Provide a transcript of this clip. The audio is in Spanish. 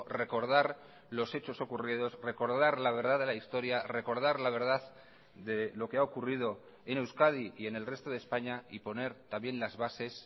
recordar los hechos ocurridos recordar la verdad de la historia recordar la verdad de lo que ha ocurrido en euskadi y en el resto de españa y poner también las bases